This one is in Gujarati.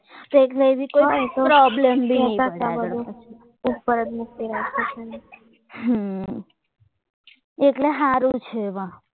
કોઈને problem બી ના થાય એટલે સારું છે